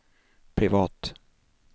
privat